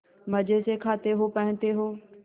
मजे से खाते हो पहनते हो